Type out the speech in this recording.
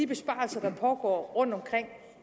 besparelser der pågår rundtomkring